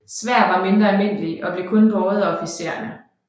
Sværd var mindre almindelige og blev kun båret af officiererne